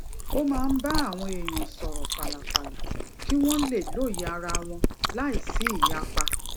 ó máa ń bá àwọn èèyàn sòrò fàlàlà kí wón lè lóye ara wọn láìsí ìyapa